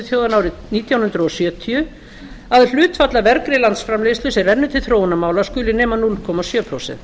þjóðanna árið nítján hundruð sjötíu að hlutfall af vergri landsframleiðslu sem rennur til þróunarmála skuli nema núll komma sjö prósent